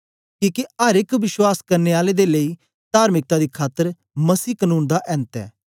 किके अर एक विश्वास करने आले दे लेई तार्मिकता दी खातर मसीह कनून दा ऐन्त ऐ